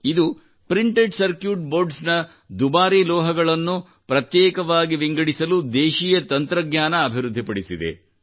ಇದು printed circuit boards ನ ದುಬಾರಿ ಲೋಹಗಳನ್ನು ಪ್ರತ್ಯೇಕವಾಗಿ ವಿಂಗಡಿಸಿ ದೇಶೀಯ ತಂತ್ರಜ್ಞಾನ ಅಭಿವೃದ್ಧಿ ಪಡಿಸಿದೆ